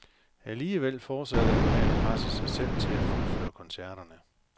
Alligevel fortsatte han med at presse sig selv til at fuldføre koncerterne.